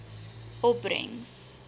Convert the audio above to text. opbrengs